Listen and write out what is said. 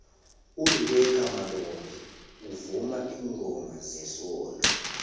uribecca malope uvuma ilngoma zesondo